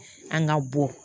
An ka bɔ